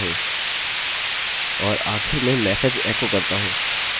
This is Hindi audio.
और आखिर में मेसेज एको करता हूँ upload complete